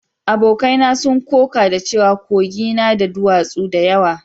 Abokai na sun koka da cewa Kogi na da duwatsu da yawa